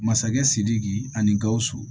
Masakɛ sidiki ani gawusu